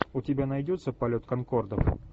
у тебя найдется полет конкордов